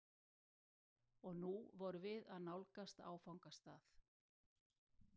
Og nú vorum við að nálgast áfangastað.